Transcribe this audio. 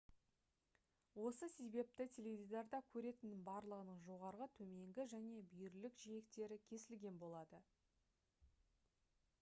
осы себепті теледидарда көретіннің барлығының жоғарғы төменгі және бүйірлік жиектері кесілген болады